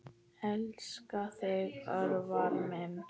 Elska þig, Örvar minn.